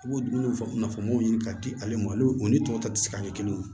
I b'o dumuni nafamaw ɲini ka di ale ma olu o ni tɔw ta tɛ se ka kɛ kelen ye